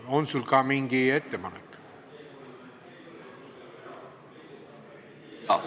On sul ka mingi ettepanek?